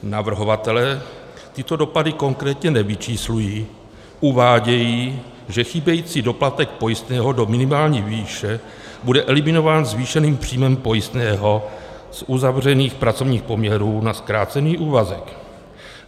Navrhovatelé tyto dopady konkrétně nevyčíslují, uvádějí, že chybějící doplatek pojistného do minimální výše bude eliminován zvýšeným příjmem pojistného z uzavřených pracovních poměrů na zkrácený úvazek.